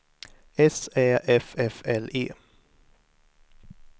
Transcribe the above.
S Ä F F L E